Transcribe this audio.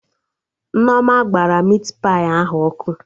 Nneoma gbara mit pai ahụ ọkụ